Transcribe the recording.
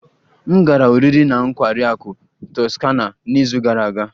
M gara oriri na nkwari akụ Toscana n'izu gara aga